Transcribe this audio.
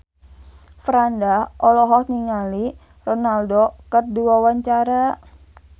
Franda olohok ningali Ronaldo keur diwawancara